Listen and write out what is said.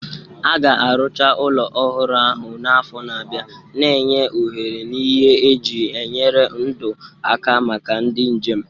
A ga-arụcha ụlọ ọhụrụ ahụ n'afọ na-abịa, na-enye ohere na ihe eji enyere ndụ aka maka ndị njem.